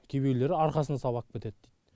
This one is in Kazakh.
кейбіреулері арқасына салып ап кетеді